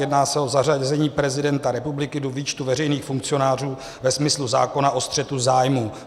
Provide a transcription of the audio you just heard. Jedná se o zařazení prezidenta republiky do výčtu veřejných funkcionářů ve smyslu zákona o střetu zájmů.